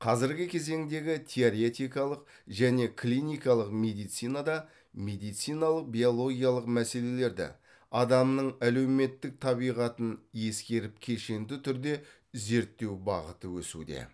қазіргі кезеңдегі теоретикалық және клиникалық медицинада медициналық биологиялық мәселелерді адамның әлеуметтік табиғатын ескеріп кешенді түрде зерттеу бағыты өсуде